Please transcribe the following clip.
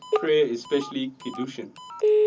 prayer especially kiddushin